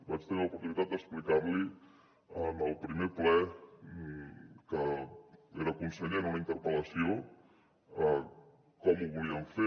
vaig tenir l’oportunitat d’explicar li en el primer ple en que era conseller en una interpel·lació com ho volíem fer